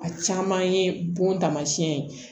A caman ye bon taamasiyɛn ye